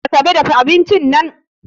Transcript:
Asabe dafa abincin nan